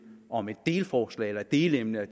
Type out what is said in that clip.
om et delforslag eller et delemne